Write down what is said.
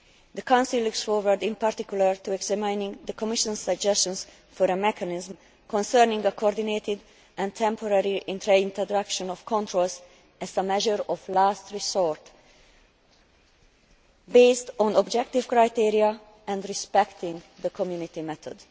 The Council looks forward in particular to examining the Commission's suggestions for a mechanism concerning the coordinated and temporary reintroduction of controls as a measure of last resort, based on objective criteria and respecting the Community method.